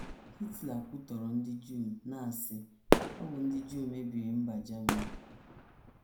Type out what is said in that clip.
Hitler kwutọrọ ndị Juu, na - asị, ‘ Ọ bụ ndị Juu mebiri mba Germany